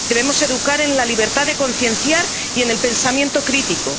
Debemos educar en la libertad de concienciar y en el pensamiento crítico.